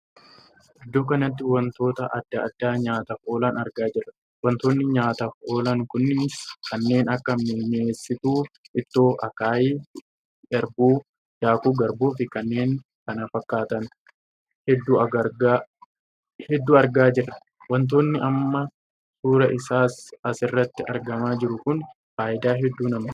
Iddoo kanatti wantoota addaa addaa nyaataaf oolan argaa jirra. wantoonni nyaataaf oolan kunis kanneen akka minyeesstuu ittoo, akaayii garbuu, daakuu garbuu fi kanneen kana fakkaatan hedduu argaa jirra. wantoonni amma suuraa isaa as irratti argamaa jiru kun faayidaa hedduu namaaf kenna.